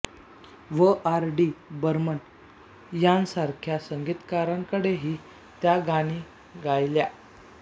व आर डी बर्मन यांसारख्या संगीतकारांकडेही त्या गाणी गायल्या